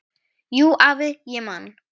Jú, afi, ég man.